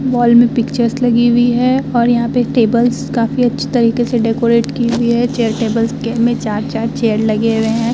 Mall में pictures लगी हुई हैं और यहाँ पे टेबल्स काफी अच्छे तरीके से डेकोरेट की हुई है। चेयर टेबल्स के में चार-चार चेयर लगे हुए हैं।